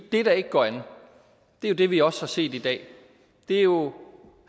det der ikke går an er det vi også har set i dag det er jo